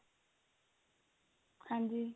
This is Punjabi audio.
ਹਾਂਜੀ